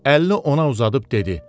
Əlini ona uzadıb dedi.